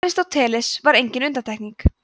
aristóteles var engin undantekning